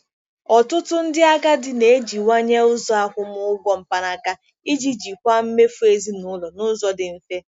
Ọtụtụ ndị agadi na-ejiwanye ụzọ akwụmụgwọ mkpanaka iji jikwaa mmefu ezinụlọ n'ụzọ dị mfe.